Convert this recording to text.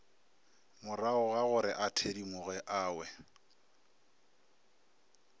moragogagore a thedimoge a we